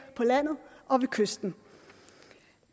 på landet og ved kysten